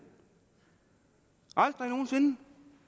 aldrig nogen sinde